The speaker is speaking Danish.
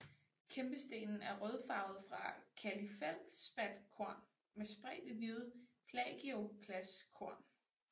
Kæmpestenen er rødfarvet fra kalifeldspatkorn med spredte hvide plagioklaskorn